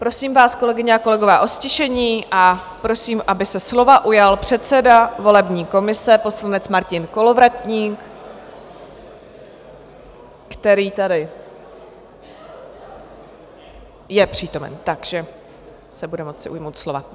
Prosím vás, kolegyně a kolegové, o ztišení, a prosím, aby se slova ujal předseda volební komise, poslanec Martin Kolovratník, který tady... je přítomen, takže se bude moci ujmout slova.